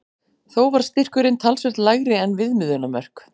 Þó var styrkurinn talsvert lægri en viðmiðunarmörk.